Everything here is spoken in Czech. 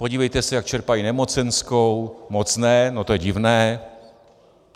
Podívejte se, jak čerpají nemocenskou - moc ne, no to je divné.